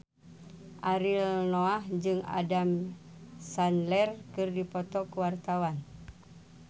Ariel Noah jeung Adam Sandler keur dipoto ku wartawan